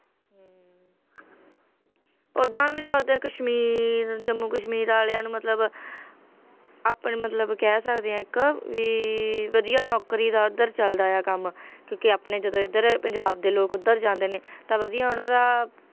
ਓਦਾਂ ਵੀ ਤਾਂ ਉੱਥੇ ਕਸ਼ਮੀਰ ਜੰਮੂ ਕਸ਼ਮੀਰ ਵਾਲਿਆਂ ਨੂੰ ਮਤਲਬ ਆਪਣੇ ਮਤਲਬ ਕਹਿ ਸਕਦੇ ਹਾਂ ਇੱਕ ਵੀ ਵਧੀਆ ਨੌਕਰੀ ਦਾ ਉੱਧਰ ਚੱਲਦਾ ਆ ਕੰਮ, ਕਿਉਂਕਿ ਆਪਣੇ ਜਦੋਂ ਇੱਧਰ ਪੰਜਾਬ ਦੇ ਲੋਕ ਉੱਧਰ ਜਾਂਦੇ ਨੇ ਤਾਂ ਵਧੀਆ ਉਹਨਾਂ ਦਾ,